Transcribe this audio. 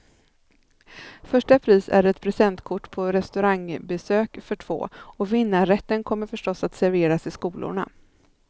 Första pris är ett presentkort på restaurangbesök för två, och vinnarrätten kommer förstås att serveras i skolorna.